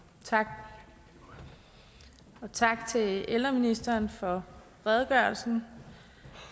tak og tak til ældreministeren for redegørelsen